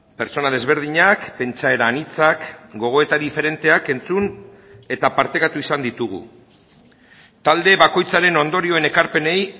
pertsona desberdinak pentsaera anitzak gogoeta diferenteak entzun eta partekatu izan ditugu talde bakoitzaren ondorioen ekarpenei